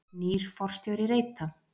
Nýr forstjóri Reita